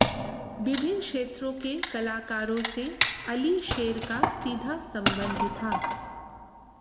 विभिन्न क्षेत्रों के कलाकारों से अली शेर का सीधा संबंध था